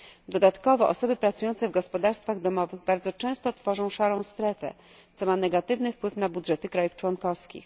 Dodatkowo osoby pracujące w gospodarstwach domowych bardzo często tworzą szarą strefę, co ma negatywny wpływ na budżety krajów członkowskich.